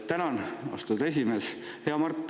Tänan, austatud esimees!